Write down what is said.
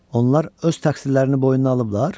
Onlar öz təqsirlərini boynuna alıblar?